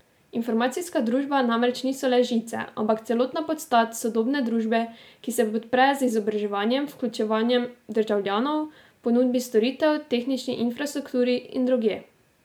Informacijska družba namreč niso le žice, ampak celotna podstat sodobne družbe, ki se podpre z izobraževanjem, vključevanjem državljanov, ponudbi storitev, tehnični infrastrukturi in drugje.